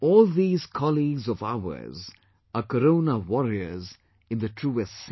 All these colleagues of ours are Corona Warriors in the truest sense